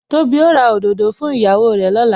Tóbi ó ra òdòdó fún ìyàwó rè lọ́la